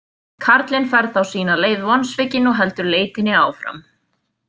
Karlinn fer þá sína leið vonsvikinn og heldur leitinni áfram.